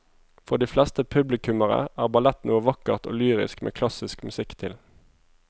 For de fleste publikummere er ballett noe vakkert og lyrisk med klassisk musikk til.